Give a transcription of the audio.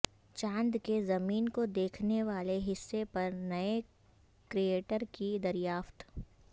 چاند کے زمین کو دیکھنےوالے حصے پر نئے کریٹر کی دریافت